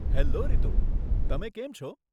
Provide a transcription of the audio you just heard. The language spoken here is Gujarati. હેલો રીતુ, તમે કેમ છો?